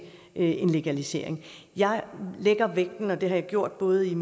en legalisering jeg lægger vægten og det har jeg gjort både i